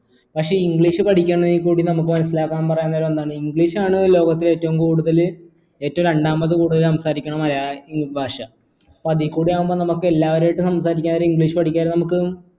പക്ഷെ english പഠിക്കുന്നതിലൂടെ നമുക്ക് മനസിലാക്കാൻ പറയാൻ ഒന്നാണ് english ആണ് ലോകത്തിലെ ഏറ്റവും കൂടുതൽ ഏറ്റവും രണ്ടാമത് കൂടുതൽ സംസാരിക്കണ മ ഭാഷ അപ്പൊ അതീ കൂടെ ആവുമ്പൊ നമുക്ക് എല്ലാവരായിട്ടും സംസാരിക്കാൻ ഒരു english പഠിക്കാൻ നമുക്ക്